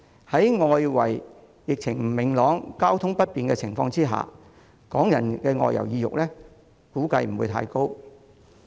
在外圍疫情不明朗、交通不便的情況下，港人的外遊意欲估計不會太高。